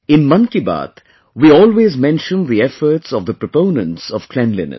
In 'Mann Ki Baat', we always mention the efforts of the proponents of cleanliness